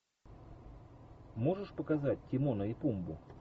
можешь показать тимона и пумбу